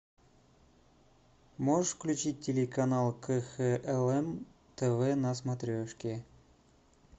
можешь включить телеканал кхлм тв на смотрешке